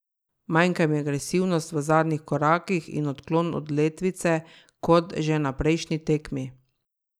Manjka mi agresivnosti v zadnjih korakih in odklon od letvice, kot že na prejšnji tekmi.